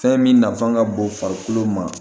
Fɛn min nafan ka bon farikolo ma